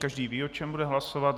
Každý ví, o čem bude hlasovat.